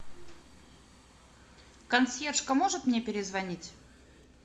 консьержка может мне перезвонить